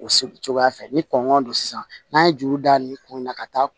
O so cogoya fɛ ni kɔngɔ don sisan n'a ye juru da nin kun in na ka taa